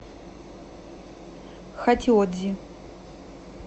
хатиодзи